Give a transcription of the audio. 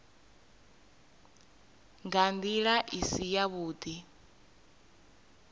nga ndila i si yavhudi